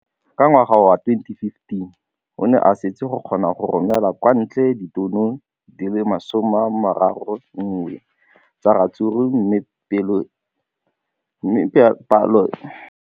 Ka ngwaga wa 2015, o ne a setse a kgona go romela kwa ntle ditone di le 31 tsa ratsuru mme palo eno e ne ya menagana thata go ka nna ditone di le 168 ka ngwaga wa 2016.